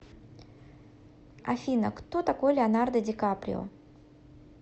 афина кто такой леонардо ди каприо